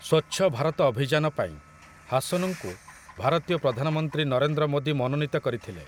ସ୍ୱଚ୍ଛ ଭାରତ ଅଭିଯାନ ପାଇଁ ହାସନଙ୍କୁ ଭାରତୀୟ ପ୍ରଧାନମନ୍ତ୍ରୀ ନରେନ୍ଦ୍ର ମୋଦୀ ମନୋନୀତ କରିଥିଲେ ।